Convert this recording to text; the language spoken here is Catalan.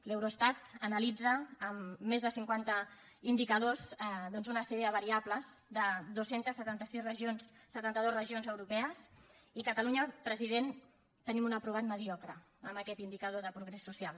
l’eurostat analitza amb més de cinquanta indicadors doncs una sèrie de variables de dos cents i setanta dos regions europees i catalunya president tenim un aprovat mediocre en aquest indicador de progrés social